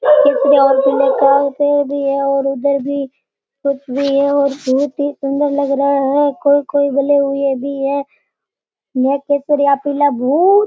और उधर भी धुप भी है और बहुत ही सुन्दर लग रहा है कोई कोई बले हुए भी है केसरिया पीला --